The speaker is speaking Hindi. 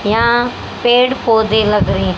यहां पेड़ पौधे लग रहे--